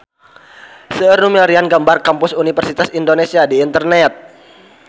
Seueur nu milarian gambar Kampus Universitas Indonesia di internet